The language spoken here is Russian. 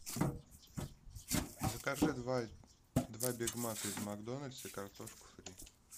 закажи два бигмака из макдональдса и картошку фри